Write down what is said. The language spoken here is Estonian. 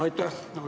Aitäh!